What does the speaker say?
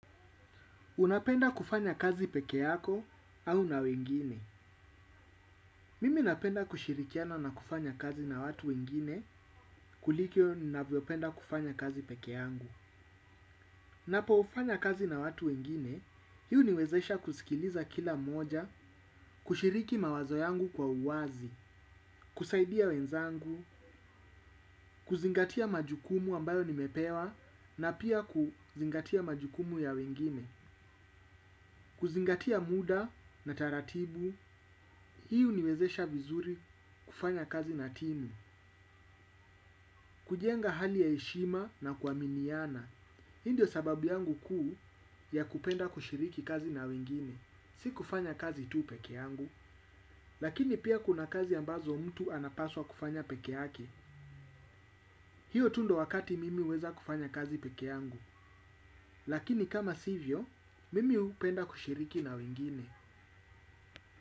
Unapenda kufanya kazi peke yako au na wengine. Mimi napenda kushirikiana na kufanya kazi na watu wengine kuliko navyopenda kufanya kazi peke yangu. Napofanya kazi na watu wengine, hii huniwezesha kusikiliza kila mmoja, kushiriki mawazo yangu kwa uwazi, kusaidia wenzangu, kuzingatia majukumu ambayo nimepewa na pia kuzingatia majukumu ya wengine. Kuzingatia muda na taratibu. Hii huniwezesha vizuri kufanya kazi na timu. Kujenga hali ya heshima na kuaminiana hii ndio sababu yangu kuu ya kupenda kushiriki kazi na wengine. Si kufanya kazi tu pekee yangu lakini pia kuna kazi ambazo mtu anapaswa kufanya peke yake. Hiyo tu ndo wakati mimi huweza kufanya kazi peke yangu. Lakini kama sivyo, mimi hupenda kushiriki na wengine.